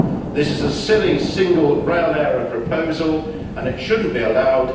This is a silly single rail area proposal and it should not be allowed.